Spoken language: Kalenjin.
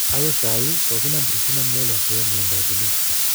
akoi sai kokinam Christina mlelwa ak poiyot nyi eng kap polis